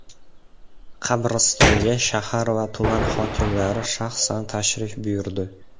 Qabristonga shahar va tuman hokimlari shaxsan tashrif buyurdi.